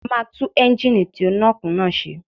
A máa tú Ẹ́ńgìnì tí ó nọ́ọ̀kì náà ṣe